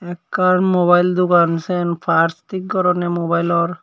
ekkan mobile dogan sien part thik goronne mobilor.